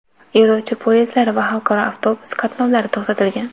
yo‘lovchi poyezdlari va xalqaro avtobus qatnovlari to‘xtatilgan.